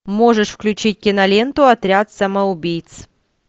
можешь включить киноленту отряд самоубийц